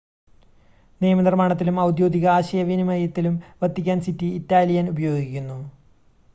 നിയമനിർമ്മാണത്തിലും ഔദ്യോഗിക ആശയവിനിമയത്തിലും Vatican city Italian ഉപയോഗിക്കുന്നു